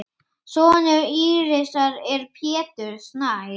Sonur Írisar er Pétur Snær.